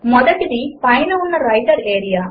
మొదటిది పైన ఉన్న వ్రైటర్ ఏరియా